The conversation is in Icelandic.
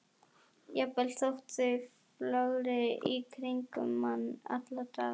Jafnvel þótt þau flögri í kringum mann alla daga.